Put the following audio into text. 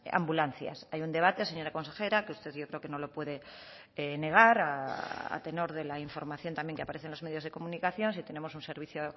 ambulancias hay un debate señora consejera que usted yo creo que no lo puede negar a tenor de la información también que aparece en los medios de comunicación si tenemos un servicio